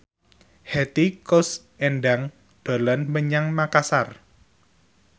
Hetty Koes Endang dolan menyang Makasar